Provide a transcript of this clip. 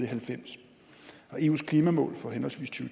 halvfems og eus klimamål for henholdsvis to